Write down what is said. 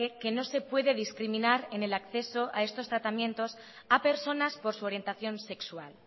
que que no se puede discriminar en el acceso a estos tratamientos a personas por su orientación sexual